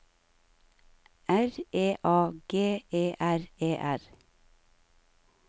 R E A G E R E R